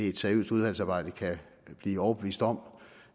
et seriøst udvalgsarbejde kan blive overbevist om